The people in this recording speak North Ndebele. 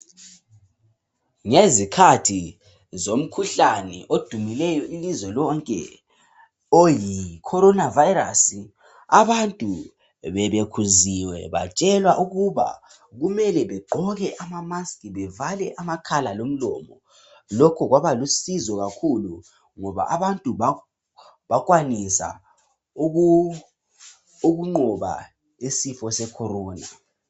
Ngezikhathi zomkhuhlane odumileyo ilizwe lonke oyi coronavirus abantu bebekhuziwe batshelwa ukuba kumele begqoke amaask bevale amakhala lomlomo. Lokho kwaba lusizo kakhulu ngoba abantu bakwanise ukunqoba umkhuhlane we Corona.